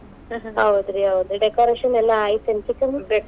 ಹೌದ್ರಿ ಹೌದ್ರಿ decoration ಎಲ್ಲಾ ಆಯ್ತ ಏನ್ ಚಿಕ್ಕಮ್ಮಾ?